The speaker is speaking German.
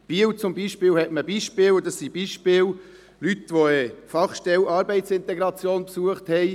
Aus Biel hat man Beispiele von Leuten, welche die Fachstelle Arbeitsintegration besucht haben.